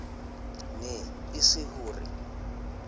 ne e se ho re